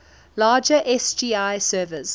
larger sgi servers